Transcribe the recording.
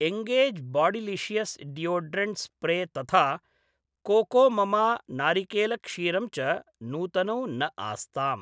engage bodylicious deodorant spray तथा कोकोममा नारिकेलक्षीरम् च नूतनौ न आस्ताम्